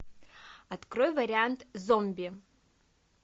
открой вариант зомби